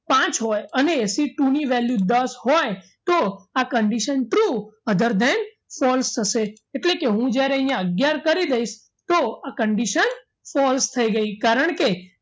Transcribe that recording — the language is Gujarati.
પાંચ હોય અને c two ની value દસ હોય તો આ condition true other than false થશે એટલે કે હું જ્યારે અહીંયા અગિયાર કરી દઈશ તો આ condition false થઈ ગઈ કારણકે